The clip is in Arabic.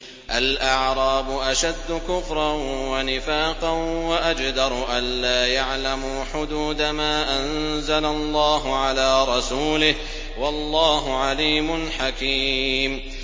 الْأَعْرَابُ أَشَدُّ كُفْرًا وَنِفَاقًا وَأَجْدَرُ أَلَّا يَعْلَمُوا حُدُودَ مَا أَنزَلَ اللَّهُ عَلَىٰ رَسُولِهِ ۗ وَاللَّهُ عَلِيمٌ حَكِيمٌ